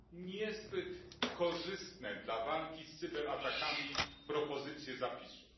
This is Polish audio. niezbyt korzystne dla walki z cyberatakami propozycje zapisów.